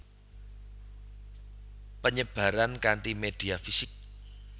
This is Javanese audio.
Penyebaran kanti media fisik